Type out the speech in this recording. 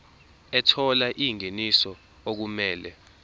ethola ingeniso okumele